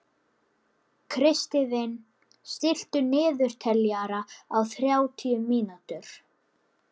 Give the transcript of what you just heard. Kristvin, stilltu niðurteljara á þrjátíu mínútur.